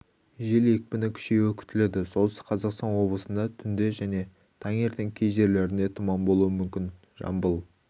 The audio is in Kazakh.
жел екпіні күшеюі күтіледі солтүстік қазақстан облысында түнде және таңертең кей жерлерінде тұман болуы мүмкін жамбыл